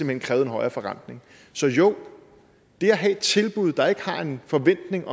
hen krævede en højere forrentning så jo det at have et tilbud der ikke har en forventning